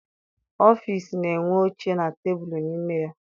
Ọfịịsi na-enwe oche na tebulu n'ime ya.